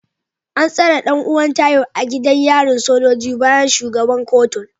An tsare dan’uwan Tayo a gidan yarin sojoji bayan shugaban kotun